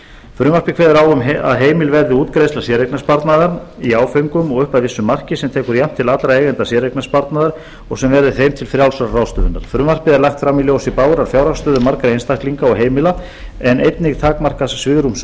frumvarpið kveður á um að heimil verði útgreiðsla séreignarsparnaðar í áföngum og upp að vissu marki sem tekur jafnt til allra eigenda séreignarsparnaðar og sem verði þeim til frjálsrar ráðstöfunar frumvarpið er lagt fram í ljósi bágrar fjárhagsstöðu margra einstaklinga og heimila en einnig takmarkaðs svigrúms